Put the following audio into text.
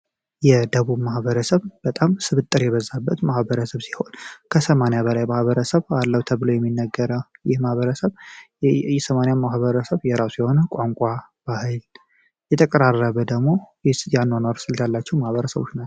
የደቡብ ማህበረሰብ በጣም ስርጥር የበዛበት ማህበረሰብ ሲሆን የማህበረሰብ አለው ተብሎ የሚነገረው የማህበረሰብ ማህበረሰብ የራሱ የሆነ ቋንቋ በኃይል ደግሞ የአኗኗር ስልት ያላቸው ማህበረሰቦች ናቸው።